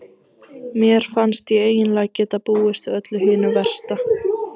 Mér fannst ég eiginlega geta búist við öllu hinu versta.